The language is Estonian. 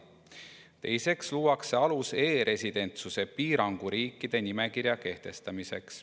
Teiseks luuakse alus e‑residentsuse piiranguga riikide nimekirja kehtestamiseks.